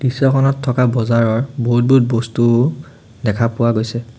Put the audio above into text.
দৃশ্যখনত থকা বজাৰৰ বহুত বহুত বস্তু দেখা পোৱা গৈছে।